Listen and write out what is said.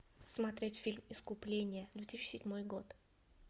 смотреть фильм искупление две тысячи седьмой год